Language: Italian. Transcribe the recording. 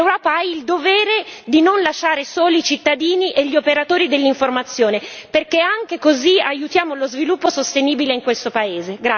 L'Europa ha il dovere di non lasciare soli i cittadini e gli operatori dell'informazione perché anche così aiutiamo lo sviluppo sostenibile in questo paese.